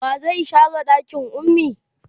wa zai share ɗakin ummi?